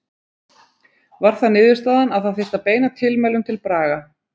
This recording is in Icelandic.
Var það niðurstaðan að það þyrfti að beina tilmælum til Braga?